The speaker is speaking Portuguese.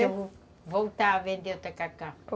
Vou voltar a vender o tacacá.